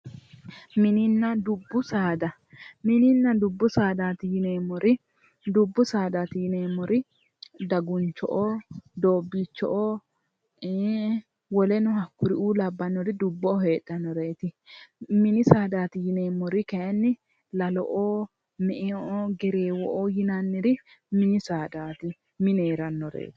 Mininna dubbu saada, mininna dubbu saadati yinneemmori dubbu saadati yinneemmori daguncho'o, Doobicho'o ,woleno hakkuriu labbanore dubbu saadati, mini saadati yinneemmori lallo'o, me"eo, Gerrewo'o yinnanniri mini saadati mine heeranoreti.